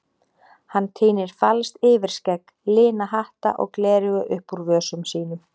Hann tínir falskt yfirskegg, lina hatta og gleraugu upp úr vösum sínum.